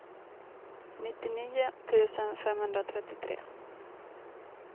nittionio tusen femhundratrettiotre